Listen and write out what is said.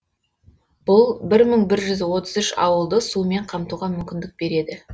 бұл бір мың бір жүз отыз үш ауылды сумен қамтуға мүмкіндік береді